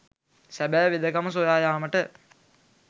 සැබෑ වෙදකම සොයා යාමට